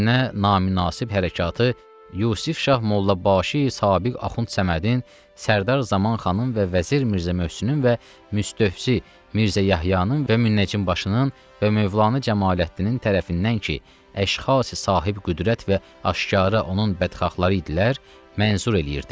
Bu günə naminansib hərəkəti Yusif şah Molla Başı, sabiq Axund Səmədin, Sərdar Zaman xanın və Vəzir Mirzə Möhsünün və Möstövsi Mirzə Yəhyanın və Münnəcim Başının və Mövlanə Camaləddinin tərəfindən ki, əşxası sahib qüdrət və aşkara onun bədxahları idilər, mənsur eləyirdi.